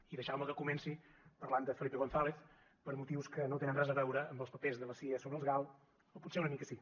i deixau me que comenci parlant de felipe gonzález per motius que no tenen res a veure amb els papers de la cia sobre els gal o potser una mica sí